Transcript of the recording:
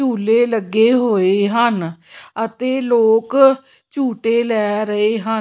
ਝੂਲੇ ਲੱਗੇ ਹੋਏ ਹਨ ਅਤੇ ਲੋਕ ਝੂੰਟੇ ਲੈ ਰਹੇ ਹਨ।